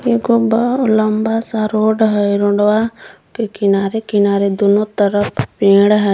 एगो अंदर लम्बा सा रोड हय रोड वा पे किनारे-किनारे दोनो तरफ पेड़ हय।